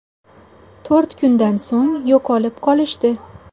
To‘rt kundan so‘ng yo‘qolib qolishdi.